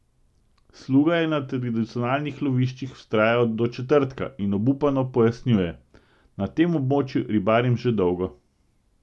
Sluga je na tradicionalnih loviščih vztrajal do četrtka in obupano pojasnjuje: "Na tem območju ribarim že dolgo.